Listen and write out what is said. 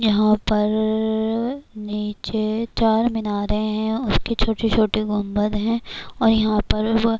یہاں پر نیچے چار مینارے ہیں اس کی چھوٹی چھوٹی گنبد ہے اور یہاں پروہ --